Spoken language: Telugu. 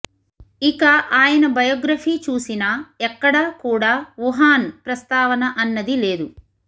ఇక ఆయన బొయోగ్రఫీ చూసినా ఎక్కడ కూడా వుహాన్ ప్రస్తావన అన్నది లేదు